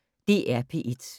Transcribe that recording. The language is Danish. DR P1